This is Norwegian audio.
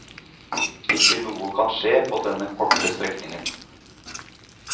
Ikke noe kan skje på denne korte strekningen.